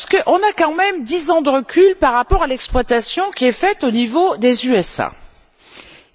On a quand même dix ans de recul par rapport à l'exploitation qui est faite au niveau des États Unis.